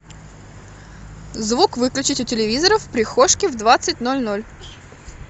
звук выключить у телевизора в прихожке в двадцать ноль ноль